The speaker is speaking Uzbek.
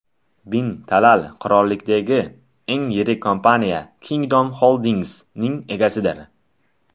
Bin Talal qirollikdagi eng yirik kompaniya Kingdom Holdings’ning egasidir.